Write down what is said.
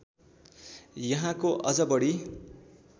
यहाँको अझ बढी